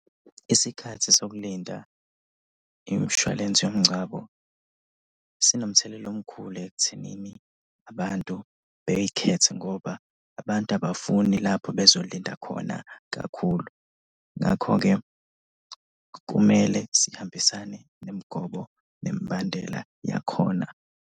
Isikhathi sokulinda imshwalense yomngcwabo sinomthelela omkhulu ekuthenini abantu beyikhethe ngoba abantu abafuni lapho bezolinda khona kakhulu. Ngakho-ke kumele sihambisane nemigomo nemibandela yakhona.